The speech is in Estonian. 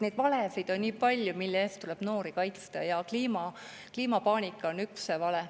Neid valesid on nii palju, mille eest tuleb noori kaitsta, ja kliimapaanika on üks vale.